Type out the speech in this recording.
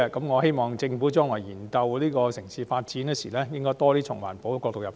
我希望政府將來研究城市發展時，應該多從環保的角度入手。